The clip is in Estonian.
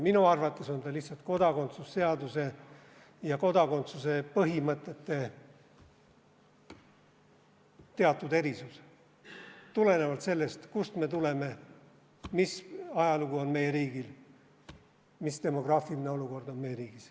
Minu arvates on ta lihtsalt kodakondsuse seaduse ja kodakondsuse põhimõtete teatud erisus tulenevalt sellest, kust me tuleme, milline ajalugu on meie riigil, milline demograafiline olukord on meie riigis.